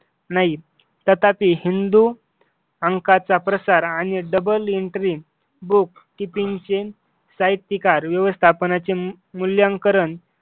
नाही तथापि हिंदू अंकाचा प्रसार आणि double entry book keeping chain साहित्यकार व्यवस्थापनाचे मूल्यांकन